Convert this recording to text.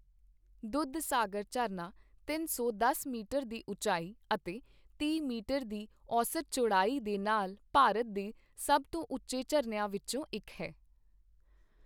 ਦੁੱਧਸਾਗਰ ਝਰਨਾ ਤਿੰਨ ਸੌ ਦਸ ਮੀਟਰ ਦੀ ਉਚਾਈ ਅਤੇ ਤੀਹ ਮੀਟਰ ਦੀ ਔਸਤ ਚੌੜਾਈ ਦੇ ਨਾਲ ਭਾਰਤ ਦੇ ਸਭ ਤੋਂ ਉੱਚੇ ਝਰਨਿਆਂ ਵਿੱਚੋਂ ਇੱਕ ਹੈ।